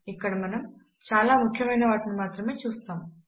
ఇక్కడ మనము చాలా ముఖ్యమైన వాటిని మాత్రమే చూస్తాము